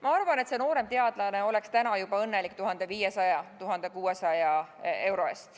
Ma arvan, et see nooremteadlane oleks täna juba õnnelik 1500 või 1600 euro üle.